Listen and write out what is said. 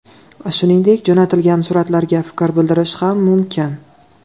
Shuningdek, jo‘natilgan suratlarga fikr bildirish ham mumkin.